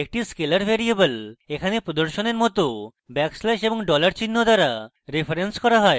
একটি scalar variable এখানে প্রদর্শনের মত ব্যাকস্ল্যাশ এবং dollar চিহ্ন দ্বারা referenced করা হয়